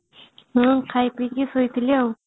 ମୁଁ ଖାଇ ପି କିରି ଶୋଇଥିଲି ଆଉ